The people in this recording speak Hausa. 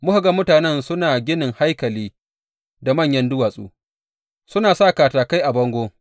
Muka ga mutanen suna ginin haikalin da manyan duwatsu, suna sa katakai a bangon.